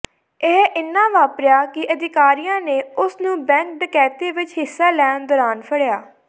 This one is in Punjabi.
ਇਹ ਇੰਨਾ ਵਾਪਰਿਆ ਕਿ ਅਧਿਕਾਰੀਆਂ ਨੇ ਉਸ ਨੂੰ ਬੈਂਕ ਡਕੈਤੀ ਵਿੱਚ ਹਿੱਸਾ ਲੈਣ ਦੌਰਾਨ ਫੜਿਆ